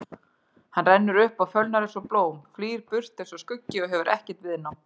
Hann rennur upp og fölnar einsog blóm, flýr burt einsog skuggi og hefur ekkert viðnám.